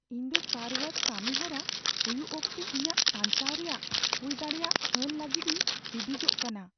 ᱤᱧ ᱫᱚ car wash ᱠᱟᱹᱢᱤ ᱦᱚᱨᱟ ᱦᱩᱭᱩᱜ ᱚᱠᱛᱮ ᱤᱧᱟᱹᱜ ᱥᱟᱧᱪᱟᱣ ᱨᱮᱭᱟᱜ ᱦᱩᱭᱫᱟᱲᱮᱭᱟᱜ ᱦᱟᱹᱱ ᱞᱟᱹᱜᱤᱫᱤᱧ ᱦᱤᱸᱫᱤᱡᱚᱜ ᱠᱟᱱᱟ ᱾